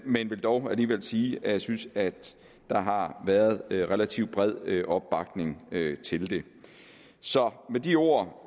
vil dog alligevel sige at jeg synes at der har været relativt bred opbakning til det så med de ord